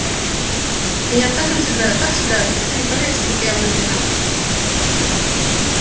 а я так им сыграю так сыграю что все они поверят что буд-то я влюблена